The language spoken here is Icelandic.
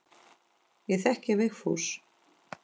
Ég þekki Vigfús.